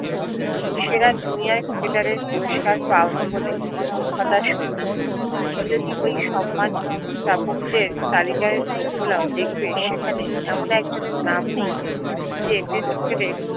সেরা junior ক্রিকেটারে পুরস্কার পাওনি বলে হতাশ হইও না তুমি যদি ওই সম্মান তা পক্তের তালিকায় চোখ বোলাও দেখবে সেখানে এমন এক জনের নাম নেই যে test ক্রিকেটে